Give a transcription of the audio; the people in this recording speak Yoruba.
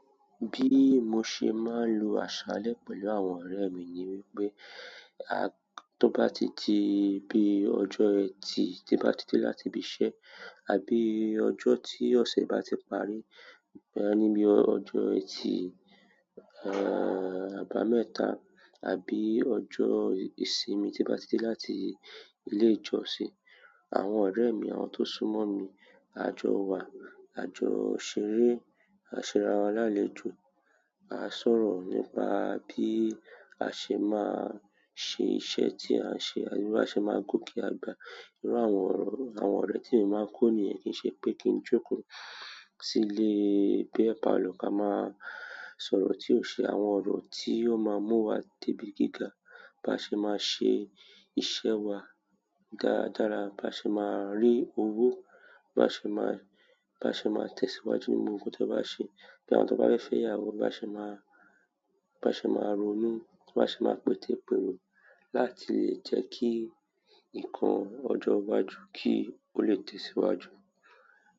Bí mo ṣe máa ń lo àṣálẹ́ pẹ̀lú àwọn ọ̀rẹ́ mi ni wípé, tó bá ti di bí ọjọ́ ẹ ti bá ti dé láti bi iṣẹ́, àbí ọjọ́ tí ọ̀sẹ̀ bá ti parí, boya ni bí ọjọ́ ẹti, àbámẹ́ta àbí ọjọ́ ìsinmi ti bá ti dé láti ilé ìjọsìn, àwọn ọ̀rẹ́ mi, àwọn tó súnmọ́ mi, a jọ wá, a jọ ṣeré, a ṣe ara wa lálejò, a sọ̀rọ̀ nípa bí a ṣe máa ṣe iṣẹ́ tí à ń ṣe, àbí bí a ṣe máa gòkè àgbà. Irú àwọn ọ̀re àwọn ọ̀rẹ́ tí emi máa ń kó niyen kì í ṣe pé kí n jókòó síle beer parlour ka máa sọ̀rọ̀ tí ó ṣe àwọn ọ̀rọ̀ tí yóò máa mú wa debi gíga. Bá ṣe máa ṣe iṣẹ́ wa dáadára, bá ṣe máa rí owó, bá ṣe máa, bá ṣe máa tẹ̀síwájú nínú gbogbo nkan ti a bá ṣe. Bí àwọn tó bá fẹ́ se ìyàwó bá ṣe máa, bá ṣe máa ronú, bá ṣe máa pètepèrò láti lè jẹ́ kí ǹkan ọjọ́ iwájú kí ó le tẹ̀síwájú.